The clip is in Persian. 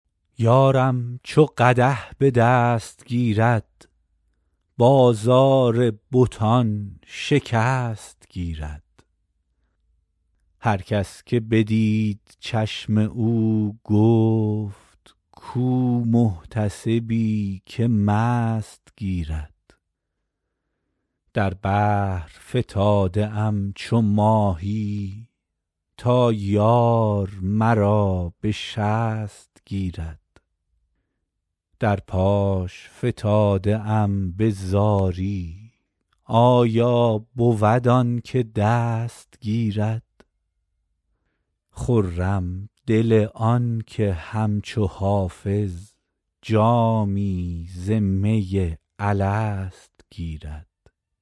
یارم چو قدح به دست گیرد بازار بتان شکست گیرد هر کس که بدید چشم او گفت کو محتسبی که مست گیرد در بحر فتاده ام چو ماهی تا یار مرا به شست گیرد در پاش فتاده ام به زاری آیا بود آن که دست گیرد خرم دل آن که همچو حافظ جامی ز می الست گیرد